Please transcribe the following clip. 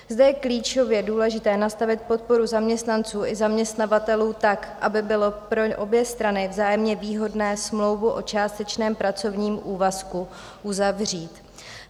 Zde je klíčově důležité nastavit podporu zaměstnanců i zaměstnavatelů tak, aby bylo pro obě strany vzájemně výhodné smlouvu o částečném pracovním úvazku uzavřít.